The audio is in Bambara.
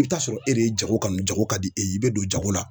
I be t'a sɔrɔ e de ye jago kanu jago ka di e ye i be don jago la.